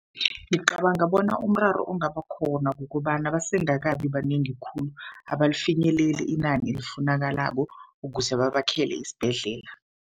Ngicabanga bona umraro ungaba khona, kukobana basengakabi banengi khulu. Abalifinyeleli inani elifunekalako ukuze babakhele isibhedlela.